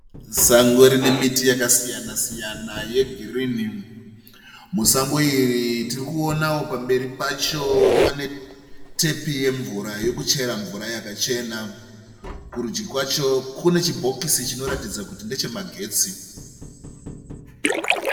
Sango rine miti yakasiyana siyana yegirini. Musango iri tirikuonawo pamberi pacho pane tepi yekuchera mvura yakachena. Kurudyi kwacho kune chibhokisi chinoratidza kuti ndeche magetsi.